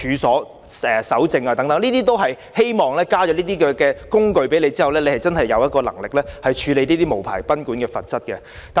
這些修訂都是希望透過增加一些"工具"，令當局更有能力處理無牌賓館的問題。